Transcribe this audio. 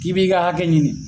k'i b'i ka hakɛ ɲini.